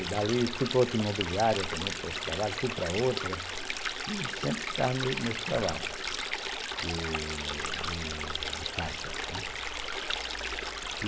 E dali fui para outra imobiliária também para esse trabalho, fui para outra, e sempre ficava nesse trabalho de de de faixas, né.